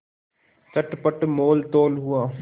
चटपट मोलतोल हुआ